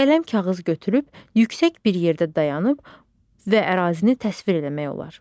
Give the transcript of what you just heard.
Qələm kağız götürüb yüksək bir yerdə dayanıb və ərazini təsvir eləmək olar.